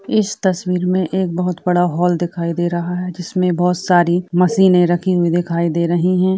इस तस्वीर मे एक बहोत बड़ा हाल दिखाई दे रहा है जिसमे बहोत सारी मशीने रखी हुई दिखाई दे रही हैं।